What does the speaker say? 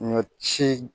Ɲɔ ci